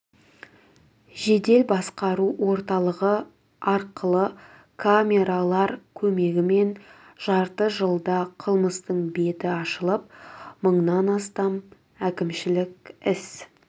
жедел басқару орталығы арқылы камералар көмегімен жарты жылда қылмыстың беті ашылып мыңнан астам әкімшілік іс